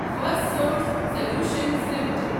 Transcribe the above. Firstsource Solutions limited